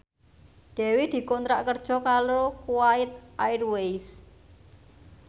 Dewi dikontrak kerja karo Kuwait Airways